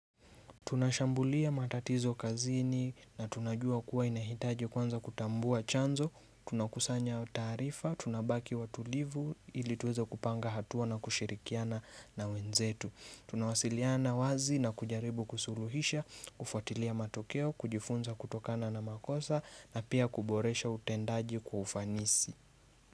Tunashambulia matatizo kazini na tunajua kuwa inahitaji kwanza kutambua chanzo, tunakusanya taarifa, tunabaki watulivu ilituweza kupanga hatua na kushirikiana na wenzetu. Tunawasiliana wazi na kujaribu kusuluhisha, kufuatilia matokeo, kujifunza kutokana na makosa na pia kuboresha utendaji kufanisi.